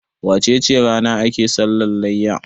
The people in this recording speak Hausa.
wacece rana ake sallah layya?